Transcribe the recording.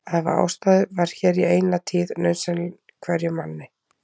Að hafa ástæðu var hér í eina tíð nauðsyn hverjum manni.